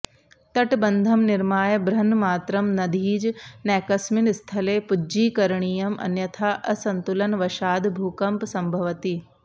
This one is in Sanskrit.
तटबन्धं निर्माय बृहन्मात्रं नदीज नैकस्मिन् स्थले पुज्जीकरणीयम् अन्यथा असन्तुलनवशाद् भूकम्पसम्भवति